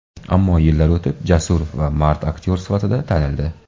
Ammo yillar o‘tib, jasur va mard aktyor sifatida tanildi.